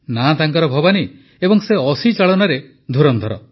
ନାଁ ତାଙ୍କର ଭବାନୀ ଏବଂ ସେ ଅସି ଚାଳନାରେ ପାରଙ୍ଗମ